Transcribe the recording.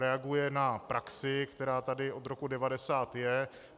Reaguje na praxi, která tady od roku 1990 je.